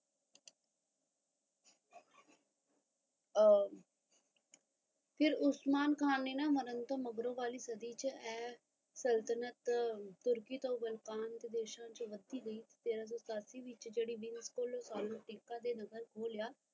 ਆ ਫਿਰ ਉਸਮਾਨ ਖਾਨ ਨੇ ਮਰਨ ਤੋਂ ਮਗਰੋਂ ਵਾਲੀ ਸਦੀ ਏਆ ਸੰਤੁਲਨ ਤੁਰਕੀ ਤੋਂ ਵਾਲਵਨ ਦੇਸ਼ਾ ਵਿੱਚ ਵਸੀ ਗਈ ਤੇਰਾ ਸੋ ਸਤਾਸੀ ਵਿੱਚ ਬਿਲਕੁਲ ਦੇ ਨਜ਼ਰ ਖੋ ਲਿਆ